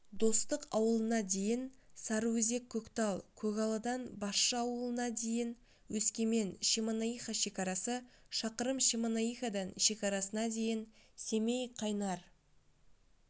достық ауылына дейін сарыөзек-көктал көгалыдан басшы ауылына дейін өскемен-шемонаиха шекарасы шақырым шемонаихадан шекарасына дейін семей-қайнар